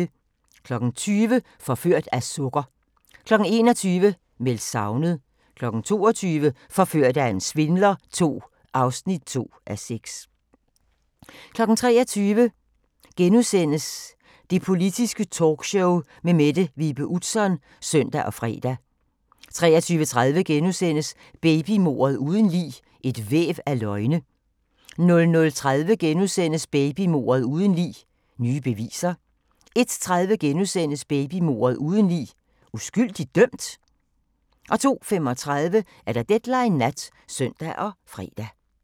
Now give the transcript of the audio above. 20:00: Forført af sukker 21:00: Meldt savnet 22:00: Forført af en svindler II (2:6) 23:00: Det Politiske Talkshow med Mette Vibe Utzon *(søn og fre) 23:30: Babymordet uden lig: Et væv af løgne * 00:30: Babymordet uden lig: Nye beviser * 01:30: Babymordet uden lig: Uskyldig dømt? * 02:35: Deadline Nat (søn og fre)